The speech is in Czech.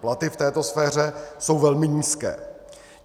Platy v této sféře jsou velmi nízké.